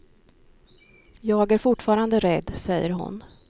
Jag är fortfarande rädd, säger hon.